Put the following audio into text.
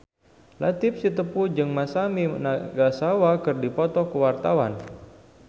Latief Sitepu jeung Masami Nagasawa keur dipoto ku wartawan